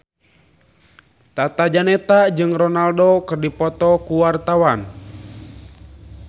Tata Janeta jeung Ronaldo keur dipoto ku wartawan